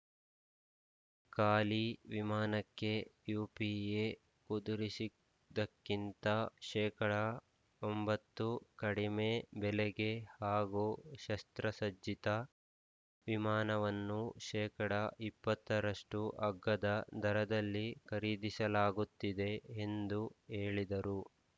ಖಾಲಿ ವಿಮಾನಕ್ಕೆ ಯುಪಿಎ ಕುದುರಿಸಿದ್ದಕ್ಕಿಂತ ಶೇಕಡಾ ಒಂಬತ್ತು ಕಡಿಮೆ ಬೆಲೆಗೆ ಹಾಗೂ ಶಸ್ತ್ರಸಜ್ಜಿತ ವಿಮಾನವನ್ನು ಶೇಕಡಾ ಇಪ್ಪತ್ತರಷ್ಟುಅಗ್ಗದ ದರದಲ್ಲಿ ಖರೀದಿಸಲಾಗುತ್ತಿದೆ ಎಂದು ಹೇಳಿದರು